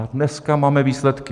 A dneska máme výsledky.